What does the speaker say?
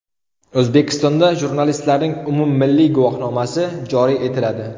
O‘zbekistonda jurnalistlarning umummilliy guvohnomasi joriy etiladi.